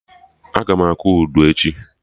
Agam akụ Udu echi